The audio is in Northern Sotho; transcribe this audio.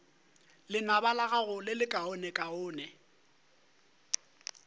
lenaba la gago le lekaonekaone